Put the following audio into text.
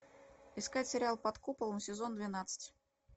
искать сериал под куполом сезон двенадцать